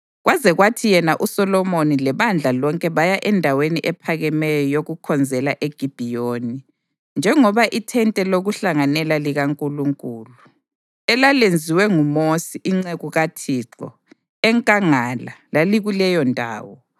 kwaze kwathi yena uSolomoni lebandla lonke baya endaweni ephakemeyo yokukhonzela eGibhiyoni, njengoba ithente lokuhlanganela likaNkulunkulu, elalenziwe nguMosi inceku kaThixo enkangala lalikuleyondawo.